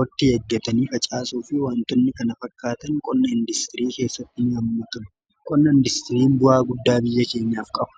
waqtii eeggatanii facaasuu fi wantoonni kana fakkaatan qonna industirii keessatti ni hammatamu. Qonna indistiriin bu'aa guddaa biyya keenyaaf qaba.